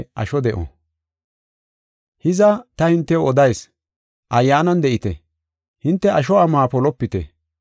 Hiza, ta hintew odayis; Ayyaanan de7ite; hinte asho amuwa polopite.